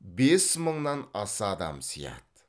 бес мыңнан аса адам сыяды